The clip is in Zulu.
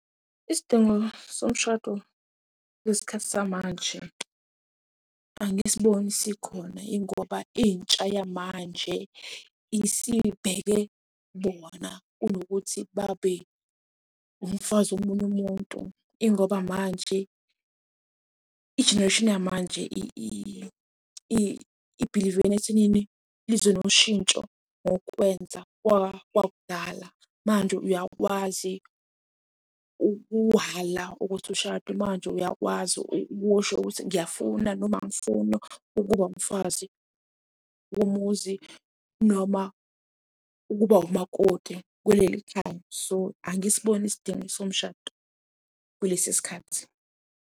Isidingo somshado kule sikhathi samanje, angisiboni isikhona ingoba intsha yamanje isibheke bona kunokuthi babe umfazi womunye umuntu. Ingoba manje ijenereyishini yamanje ibhilivela ekuthinini lizwe noshintsho ngokwenza kwakudala. Manje uyakwazi ukuhhala ukuthi ushade, manje uyakwazi ukusho ukuthi ngiyafuna noma angifuni ukuba umfazi womuzi noma ukuba umakoti kuleli khaya. S,o angisiboni isidingo somshado kulesi sikhathi.